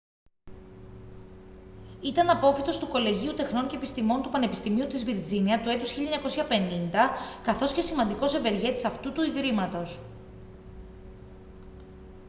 ήταν απόφοιτος του κολεγίου τεχνών και επιστημών του πανεπιστημίου της βιρτζίνια του έτους 1950 καθώς και σημαντικός ευεργέτης αυτού του ιδρύματος